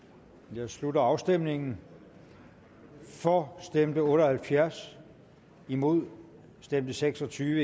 jeg slutter afstemningen for stemte otte og halvfjerds imod stemte seks og tyve